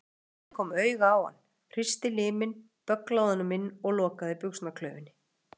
Einn lögregluþjónninn kom auga á hann, hristi liminn, bögglaði honum inn og lokaði buxnaklaufinni.